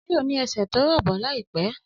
Ọmọ náà yóò ní ẹsẹ̀ tó rọ̀bọ̀ láìpẹ́